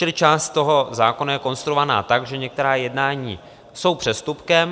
Čili část toho zákona je konstruovaná tak, že některá jednání jsou přestupkem.